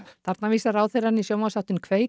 þarna vísar ráðherrann í sjónvarpsþáttinn